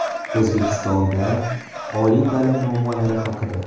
O‘zbekistonda oliy ta’lim muammolari haqida.